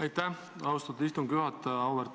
Aitäh, austatud istungi juhataja!